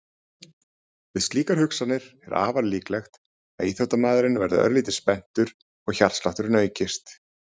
Við slíkar hugsanir er afar líklegt að íþróttamaðurinn verði örlítið spenntur og hjartslátturinn aukist.